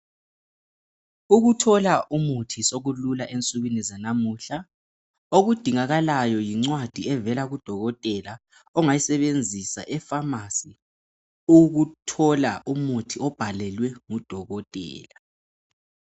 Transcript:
Ukuthola umuthi sekulula ensukwini zanamuhla, okudingakalayo yincwadi evela kudokotela ongayisebenzisa efamasi ukuthola umuthi obhalelwe ngudokotela.